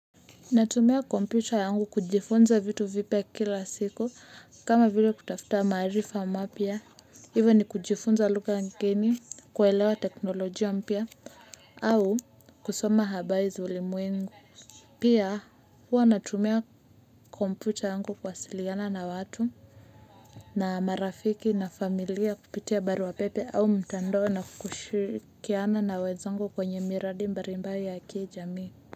Natumia kompyuta yangu kujifunza vitu vipya kila siku kama vile kutafta maarifa mapya hivyo ni kujifunza lugha ngeni kuelewa teknolojia mpya au kusoma habari za ulimwengu pia huwa natumia komputa yangu kuasiliana na watu na marafiki na familia kupitia barua pepe au mtandao na kushirikiana na wenzangu kwenye miradi mbarimbayo ya kijamii. Kwa hivyo.